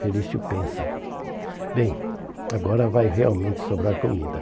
Felício pensa, bem, agora vai realmente sobrar comida.